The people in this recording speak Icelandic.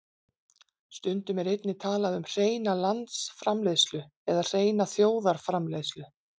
Stundum er einnig talað um hreina landsframleiðslu eða hreina þjóðarframleiðslu.